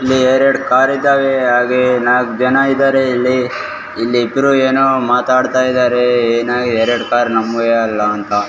ಇಲ್ಲಿ ಎರಡು ಕಾರ್ ಇದಾವೆ ಹಾಗೆ ನಾಕ್ ಜನ ಇದಾರೆ ಇಲ್ಲಿ ಇಲ್ಲಿ ಇಬ್ರು ಎನೊ ಮಾತಾಡ್ತಾ ಇದಾರೆ ಎನೊ ಎರಡ್ ಕಾರ್ ನಮ್ಮುವೆ ಅಲ್ಲಾ ಅಂತ .